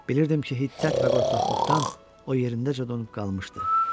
Bilirdim ki, hiddət və qorxaqlıqdan o yerindəcə donub qalmışdı.